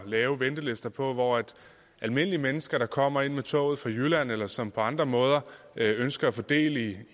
lave ventelister på hvor almindelige mennesker der kommer ind med toget fra jylland eller som på andre måder ønsker at få del i